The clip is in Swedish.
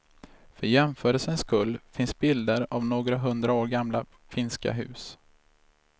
För jämförelsens skull finns bilder av några hundra år gamla finska hus.